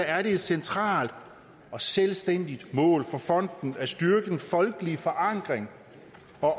er det et centralt og selvstændigt mål for fonden at styrke den folkelige forankring